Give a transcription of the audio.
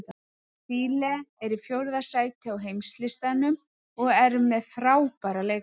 Síle er í fjórða sæti á heimslistanum og er með frábæra leikmenn.